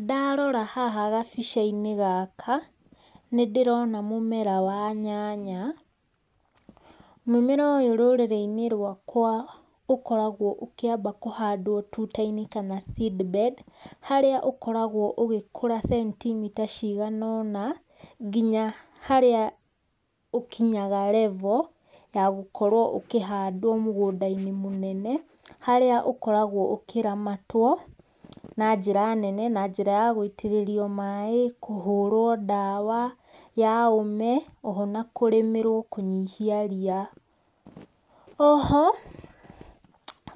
Ndarora haha gabĩca inĩ gaka nĩndĩrona mũmera wa nyanya, mũmera ũyũ rũrĩrĩ inĩ rwakwa ũkoragwo ũkĩaba kũhandwo kana seed bed harĩa ũkoragwo ũgĩkũra centimeter cĩgana ona, ngĩnya harĩa ũkĩnyaga level ya gũkorwo ũkĩhandwo mũgũnda inĩ mũnene harĩa ũkoragwo ũkĩramatwo, na jĩra nene na jĩra ya gũitĩrĩrio maĩ kũhũrwo dawa ya ome ona kũrĩmĩrwo kũnyihia rĩa. Oho